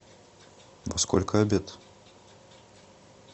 во сколько обед